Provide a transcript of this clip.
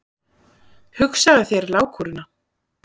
Hugsaðu þér lágkúruna!